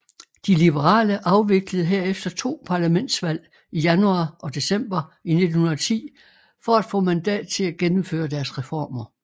De liberale afviklede herefter to parlamentsvalg i januar og december 1910 for at få mandat til at gennemføre deres reformer